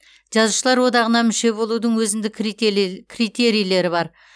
жазушылар одағына мүше болудың өзіндік критерийлері бар